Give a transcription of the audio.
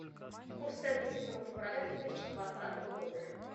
курс тенге седьмого февраля две тысячи двадцатого года